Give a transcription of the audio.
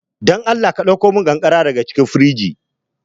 Dan Allah ɗakkomin ƙanƙara daga cikin firji.